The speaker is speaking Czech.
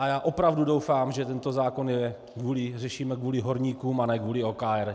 A já opravdu doufám, že tento zákon řešíme kvůli horníkům a ne kvůli OKD.